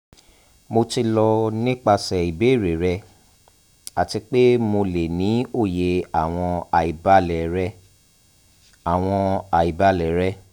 mo ti lọ nipasẹ ibeere rẹ ati pe mo le ni oye awọn aibalẹ rẹ awọn aibalẹ rẹ